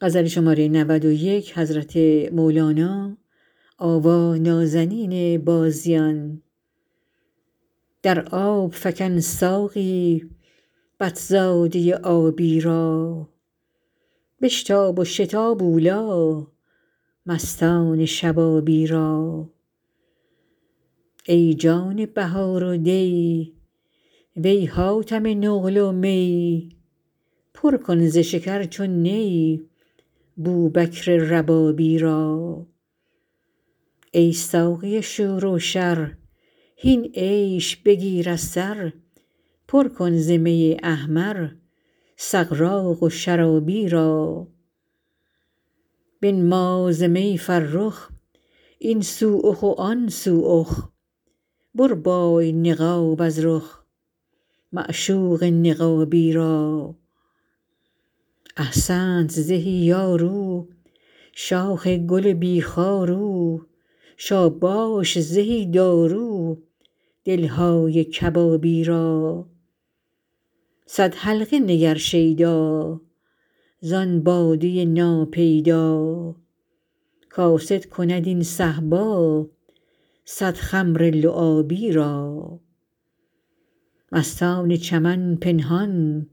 در آب فکن ساقی بط زاده آبی را بشتاب و شتاب اولی مستان شبابی را ای جان بهار و دی وی حاتم نقل و می پر کن ز شکر چون نی بوبکر ربابی را ای ساقی شور و شر هین عیش بگیر از سر پر کن ز می احمر سغراق و شرابی را بنما ز می فرخ این سو اخ و آن سو اخ بربای نقاب از رخ معشوق نقابی را احسنت زهی یار او شاخ گل بی خار او شاباش زهی دارو دل های کبابی را صد حلقه نگر شیدا زان باده ناپیدا کاسد کند این صهبا صد خمر لعابی را مستان چمن پنهان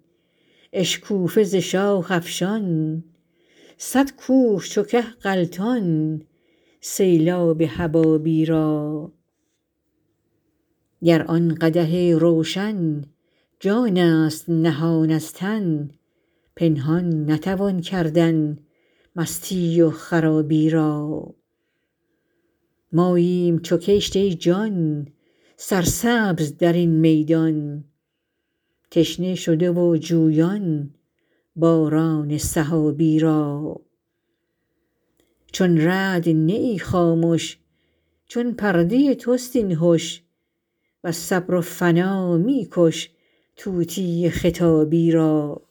اشکوفه ز شاخ افشان صد کوه چو که غلطان سیلاب حبابی را گر آن قدح روشن جانست نهان از تن پنهان نتوان کردن مستی و خرابی را ماییم چو کشت ای جان سرسبز در این میدان تشنه شده و جویان باران سحابی را چون رعد نه ای خامش چون پرده تست این هش وز صبر و فنا می کش طوطی خطابی را